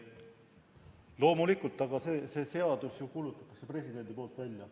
Loomulikult, aga selle seaduse ju kuulutab president välja.